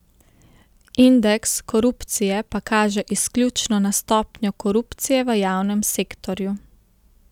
Indeks korupcije pa kaže izključno na stopnjo korupcije v javnem sektorju.